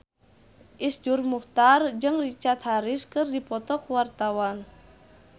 Iszur Muchtar jeung Richard Harris keur dipoto ku wartawan